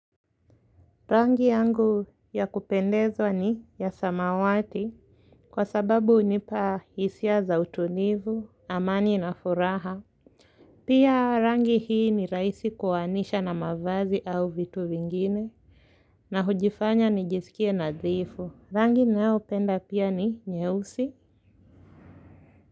Rangi yangu ya kupendezwa ni ya samawati kwa sababu hunipa hisia za utulivu, amani na furaha pia rangi hii ni rahisi kuanisha na mavazi au vitu vingine na hujifanya nijisikie nadhifu, rangi ninaopenda pia ni nyeusi.